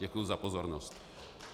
Děkuji za pozornost.